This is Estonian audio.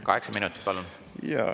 Kaheksa minutit, palun!